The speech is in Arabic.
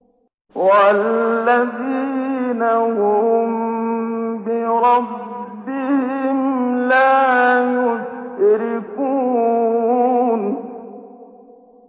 وَالَّذِينَ هُم بِرَبِّهِمْ لَا يُشْرِكُونَ